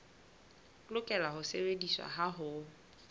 lokela ho sebediswa ha ho